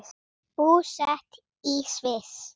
Búsett í Sviss.